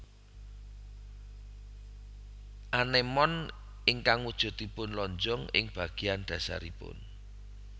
Anémon ingkang wujuduipun lonjong ing bagéyan dhasaripun